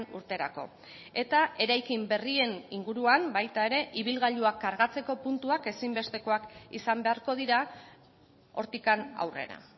urterako eta eraikin berrien inguruan baita ere ibilgailuak kargatzeko puntuak ezinbestekoak izan beharko dira hortik aurrera